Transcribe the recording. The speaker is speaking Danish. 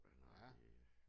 Han har der